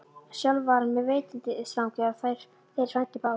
Sjálfur var hann með veiðistangir og þeir frændur báðir.